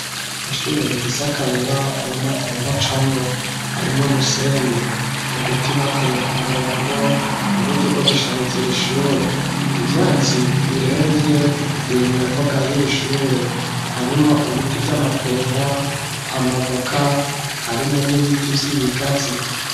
Ishure rifise akayira abamaguru bacamwo. Harimo umusenyi, uduti bateye ku murongo mu buryo bwo gushariza iri shure. Ivyatsi biremvye biri mu mbuga y'iri shure. Harimwo ibiti vy'amapera, amavoka, harimwo n'ibiti vy'ibigazi.